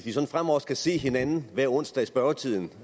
fremover skal se hinanden hver onsdag i spørgetiden